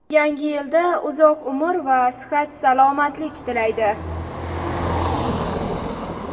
Yangi yilda uzoq umr va sihat-salomatlik tilaydi.